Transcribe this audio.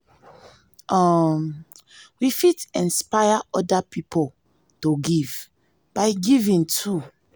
um we fit inspire oda pipo to give by giving too